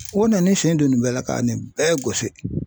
O nan'i sen don nin bɛɛ la ka nin bɛɛ gosi